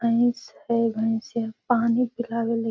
से पानी पिलावली |